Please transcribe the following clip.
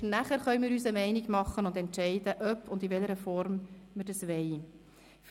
Erst danach können wir uns eine Meinung bilden und entscheiden, ob und in welcher Form wir dieses System einführen wollen.